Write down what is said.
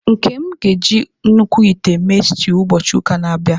Nkem ga-eji nnukwu ite mee stew ụbọchị ụka na-abịa.